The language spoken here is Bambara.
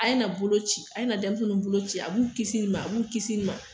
A ye na bolo ci, a ye na denmisɛnninw bolo ci . A b'u kisi nin ma a b'u kisi ma.